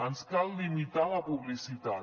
ens cal limitar la publicitat